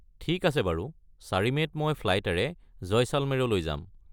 ঠিক আছে বাৰু, ৪ মে’ত মই ফ্লাইটেৰে জয়শালমেৰলৈ যাম।